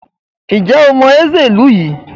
Ǹjẹ́ o mọ Nze ìlú yìí?